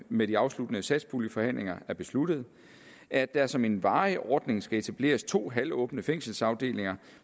med de afsluttende satspuljeforhandlinger er besluttet at der som en varig ordning skal etableres to halvåbne fængselsafdelinger